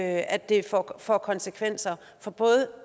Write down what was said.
at det får konsekvenser for både